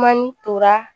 Ma ni tora